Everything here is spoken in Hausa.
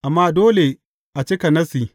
Amma dole a cika Nassi.